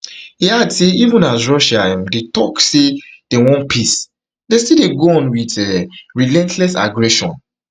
e add say even as russia um dey took say dem want peace dem still dey go on wit um dia relentless aggression